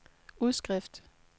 udskrift